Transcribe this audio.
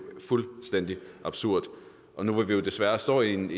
fuldstændig absurd nu hvor vi jo desværre står i en